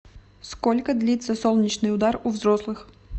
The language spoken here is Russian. сколько длится солнечный удар у взрослых